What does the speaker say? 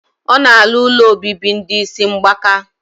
O na alu ụlọ obibi ndi isi mgbaka.